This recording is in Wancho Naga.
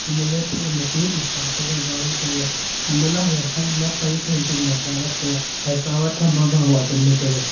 anto ley phai machu eta phaika wall tailey han toh ley haiya side ma pai phai zingka chavak taiaa haya chavak khama wau adan ley taiga.